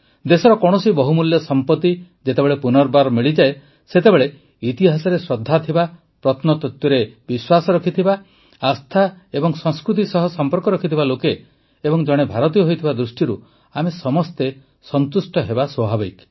ଦେଶର କୌଣସି ବହୁମୂଲ୍ୟ ସମ୍ପତି ଯେତେବେଳେ ପୁନର୍ବାର ମିଳେ ସେତେବେଳେ ଇତିହାସରେ ଶ୍ରଦ୍ଧା ଥିବା ପ୍ରତ୍ନତତ୍ୱରେ ଶ୍ରଦ୍ଧା ଥିବା ଆସ୍ଥା ଏବଂ ସଂସ୍କୃତି ସହ ସମ୍ପର୍କ ଥିବା ଲୋକେ ଏବଂ ଜଣେ ଭାରତୀୟ ହୋଇଥିବା ଦୃଷ୍ଟିରୁ ଆମେ ସମସ୍ତେ ସନ୍ତୁଷ୍ଟ ହେବା ସ୍ୱାଭାବିକ